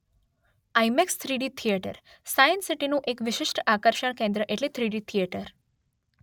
IMAX three D theatre science સીટીનું એક વિશિષ્ટ આકર્ષણ કેન્દ્ર એટલે થ્રીડી થિયેટર